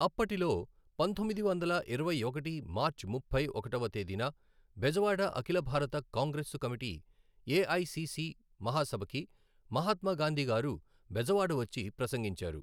అప్పటిలో పంతొమ్మిది వందల ఇరవై ఒకటి మార్చి ముప్పై ఒకటవ తేదీన బెజవాడ అఖిల భారత కాంగ్రెస్సు కమిటీ ఎఐసిసి మహాసభకి మహాత్మా గాంధీ గారు బెజవాడ వచ్చి ప్రసంగించారు.